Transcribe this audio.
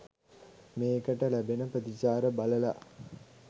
මේකට ලැබෙන ප්‍රතිචාර බලල